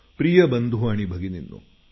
प्रिय बंधू आणि भगिनींनो